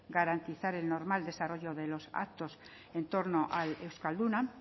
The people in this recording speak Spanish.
garantizar el normal desarrollo de los actos en torno al euskalduna